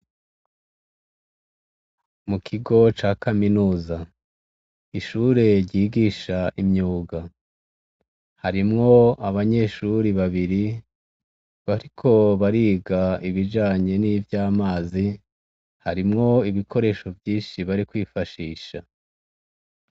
Mu kigo ca kaminuza. Ishure ryigisha imyuga, harimwo abanyeshure babiri bariko bariga ibijanye nivy'amazi, harimwo ibikoresho vyinshi bari kwifashisha.